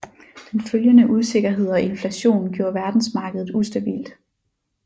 Den følgende usikkerhed og inflation gjorde verdensmarkedet ustabilt